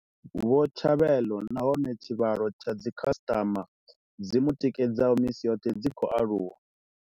Vho Tshabelo nahone tshivhalo tsha dzi khasitama dzi mu tikedzaho misi yoṱhe dzi khou aluwa.